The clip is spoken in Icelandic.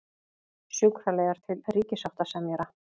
Sjúkraliðar til ríkissáttasemjara